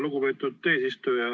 Lugupeetud eesistuja!